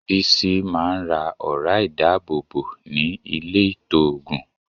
Bísí máa ń ra ọ̀ra ìdábòbò ní ilé-ìtoògùn.